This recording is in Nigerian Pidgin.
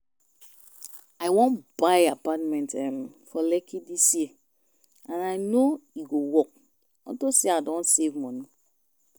I wan buy apartment um for Lekki dis year and I no e go work unto say I don save money